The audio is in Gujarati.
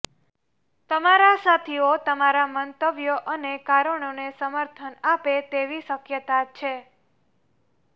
તમારા સાથીઓ તમારા મંતવ્યો અને કારણોને સમર્થન આપે તેવી શક્યતા છે